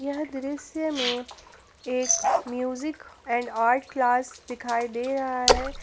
यह दृश्य में एक म्यूजिक एंड आर्ट क्लास दिखाई दे रहा है।